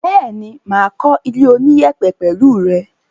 Bẹ́ẹ̀ni, mà á kó ilé oníyẹ̀pẹ̀ pẹ̀lẹ́ rẹ.